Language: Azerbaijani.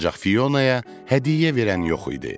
Ancaq Fionaya hədiyyə verən yox idi.